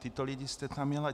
Tyto lidi jste tam měl.